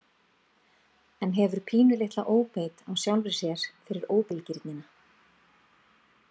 En hefur pínulitla óbeit á sjálfri sér fyrir óbilgirnina.